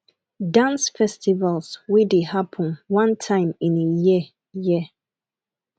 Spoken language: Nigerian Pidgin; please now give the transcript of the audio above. dance festivals wey dey happen one time in a year year